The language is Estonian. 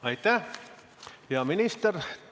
Aitäh, hea minister!